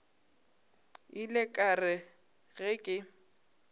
ile ka re ge ke